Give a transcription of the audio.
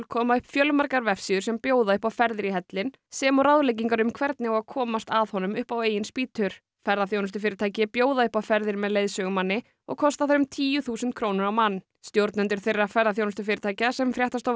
koma upp fjölmargar vefsíður sem bjóða upp á ferðir í hellinn sem og ráðleggingar um hvernig á að komast að honum upp á eigin spýtur ferðaþjónustufyrirtæki bjóða upp á ferðir með leiðsögumanni og kosta þær um tíu þúsund krónur á mann stjórnendur þeirra ferðaþjónustufyrirtækja sem fréttastofa